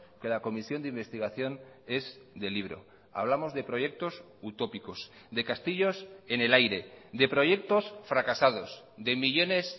que la comisión de investigación es de libro hablamos de proyectos utópicos de castillos en el aire de proyectos fracasados de millónes